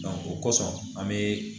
o kosɔn an be